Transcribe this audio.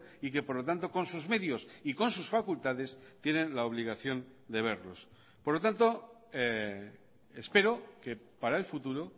y que por lo tanto con sus medios y con sus facultades tienen la obligación de verlos por lo tanto espero que para el futuro